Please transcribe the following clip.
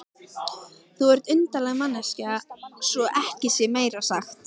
Þú ert undarleg manneskja svo ekki sé meira sagt.